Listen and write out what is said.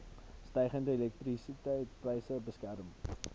stygende elektrisiteitspryse beskerm